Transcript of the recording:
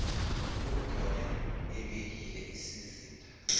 ugordhan ebekile isizinda